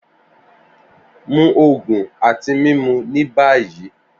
Mu oogun ati mimu ni bayi!